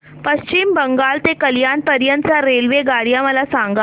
पश्चिम बंगाल ते कल्याण पर्यंत च्या रेल्वेगाड्या मला सांगा